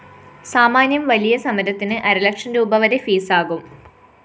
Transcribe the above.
സാമാന്യം വലിയ സമരത്തിന് അരലക്ഷം രൂപീ വരെ ഫീസ്‌ ആകും